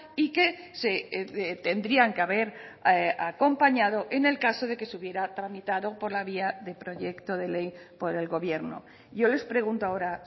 y que se tendrían que haber acompañado en el caso de que se hubiera tramitado por la vía de proyecto de ley por el gobierno yo les pregunto ahora